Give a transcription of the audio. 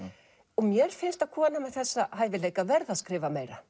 og mér finnst að kona með þessa hæfileika verði að skrifa meira